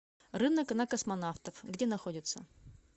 рынок на космонавтов где находится